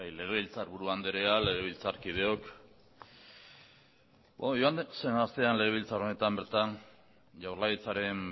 legebiltzarburu anderea legebiltzarkideok joan den astean legebiltzar honetan bertan jaurlaritzaren